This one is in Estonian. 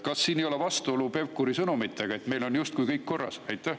Kas siin ei ole vastuolu Pevkuri sõnumiga, et meil on justkui kõik korras?